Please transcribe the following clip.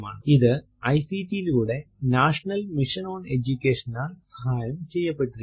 ഇത് ഐസിടി യിലൂടെ national mission on എജുകേഷനാൽ സഹായം ചെയ്യപ്പെട്ടിരിക്കുന്നു